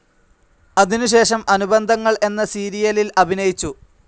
അതിനുശേഷം അനുബന്ധങ്ങൾ എന്ന സീരിയലിൽ അഭിനയിച്ചു.